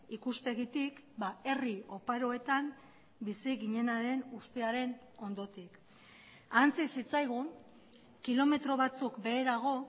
ikuspegitik herri oparoetan bizi ginenaren ustearen ondotik ahantzi zitzaigun kilometro batzuk beherago